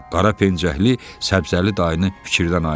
Qarapençəkli Səbzəli dayını fikirdən ayırdı.